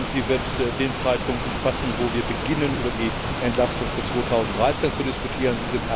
Sie wird den Zeitpunkt umfassen, zu dem wir beginnen, über die Entlastung für 2013 zu diskutieren.